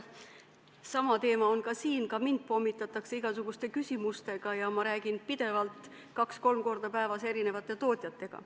Sama teema on ka meil: ka mind pommitatakse igasuguste küsimustega ja ma räägin kaks-kolm korda päevas erinevate tootjatega.